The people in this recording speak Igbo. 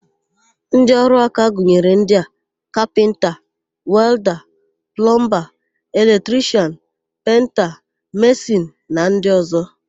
Ndịọrụaka gụnyere ndị: kapịnta, welda, plọmba, eletrishian, penta, mesịn na ndị ọ̀zọ́.